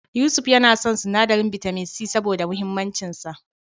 Yusuf yana son sinadarin bitamin C, saboda muhimmancin sa.